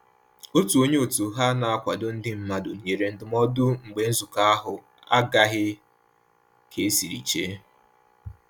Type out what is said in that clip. Otu onye òtù ha na-akwado ndị mmadụ nyere ndụmọdụ mgbe nzukọ ahụ agaghị ka esiri che